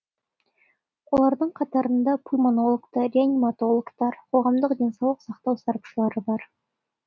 олардың қатарында пульмонологтар реаниматологтар қоғамдық денсаулық сақтау сарапшылары бар